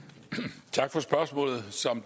tak for det spørgsmålet